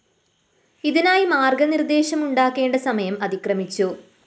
ഇതിനായി മാര്‍ഗ്ഗനിര്‍ദ്ദേശമുണ്ടാക്കേണ്ട സമയം അതിക്രമിച്ചു